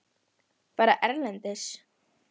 Fara erlendis?